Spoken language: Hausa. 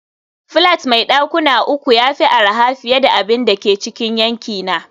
flat mai dakuna uku ya fi arha fiye da abin da ke cikin yankina